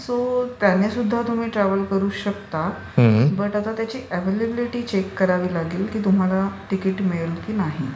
So त्याने सुद्धा तुम्ही ट्रॅवल करू शकता बट आता त्याची अव्यल्याबलिटी चेक करावी लागेल की तुम्हाला टिकिट मिळेल की नाही.